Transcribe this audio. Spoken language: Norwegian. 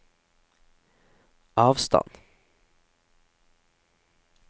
avstand